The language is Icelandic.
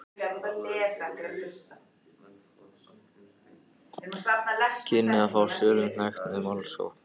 kynni að fá sölunni hnekkt með málsókn.